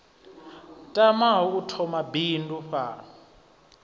tamaho u thoma bindu fhano